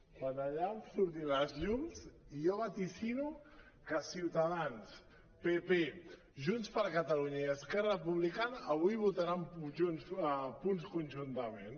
quan allà em surtin els llums jo vaticino que ciutadans pp junts per catalunya i esquerra republicana avui votaran punts conjuntament